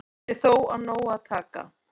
Sé þó af nógu að taka